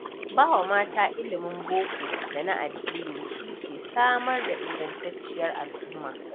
Bawa mata ilimin boko da na addini shike samar da ingantacciyar al'uma